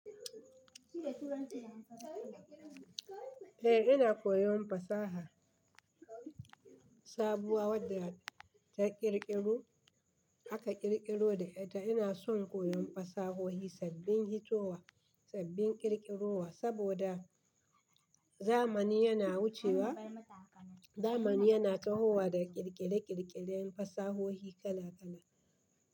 Eh ina koyon fasaha sabuwa wadda ta ƙirƙiro aka ƙirƙiro da ita. Ina son koyon fasahohi sabbin hitowa, sabbin ƙirƙirowa, saboda zamani yana wucewa. Zamani yana tahowa da ƙirƙire-ƙirƙiren fasahohi kala kala.